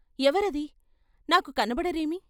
ఎవరది, నాకు కనబడరేమి?